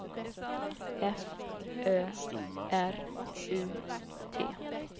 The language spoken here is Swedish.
F Ö R U T